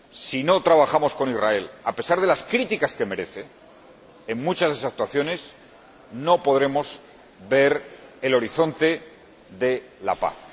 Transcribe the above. Si no trabajamos con Israel, a pesar de las críticas que merece en muchas de sus actuaciones, no podremos ver el horizonte de la paz.